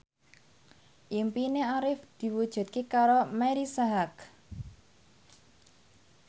impine Arif diwujudke karo Marisa Haque